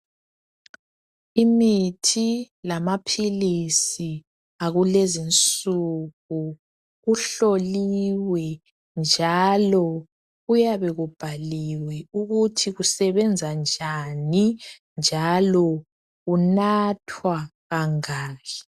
Imithi lamaphilisi akulezi nsuku kuhloliwe njalo kuyabe kubhaliwe ukuthi kusebenza njani njalo kunathwa kangaki.